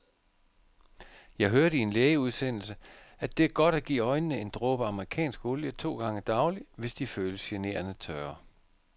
Jeg hørte i en lægeudsendelse, at det er godt at give øjnene en dråbe amerikansk olie to gange daglig, hvis de føles generende tørre.